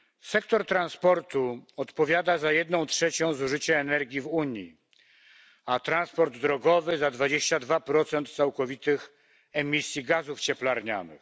Sektor transportu odpowiada za jedną trzecią zużycia energii w Unii, a transport drogowy za 22 całkowitych emisji gazów cieplarnianych.